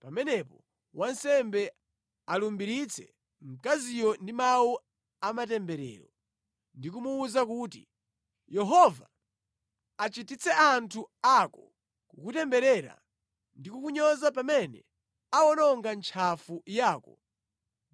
pamenepo wansembe alumbiritse mkaziyo ndi mawu a matemberero ndi kumuwuza kuti, ‘Yehova achititse anthu ako kukutemberera ndi kukunyoza pamene awononga ntchafu yako